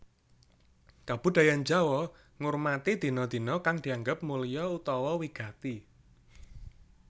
Kabudayan Jawa ngurmati dina dina kang dianggep mulya utawa wigati